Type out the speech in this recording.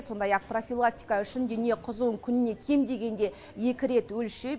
сондай ақ профилактика үшін дене қызуын күніне кем дегенде екі рет өлшеп